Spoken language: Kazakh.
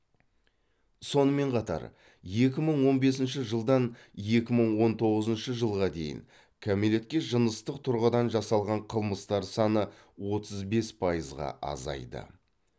сонымен қатар екі мың он бесінші жылдан екі мың он тоғызыншы жылға дейін кәмелетке жыныстық тұрғыдан жасалған қылмыстар саны отыз бес пайызға азайды